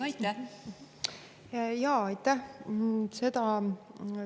Aitäh!